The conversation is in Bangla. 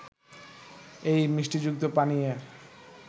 এই মিষ্টিযুক্ত পানীয়ের